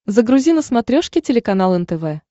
загрузи на смотрешке телеканал нтв